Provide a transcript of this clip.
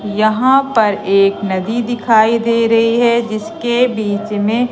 यहां पर एक नदी दिखाई दे रही है जिसके बीच में--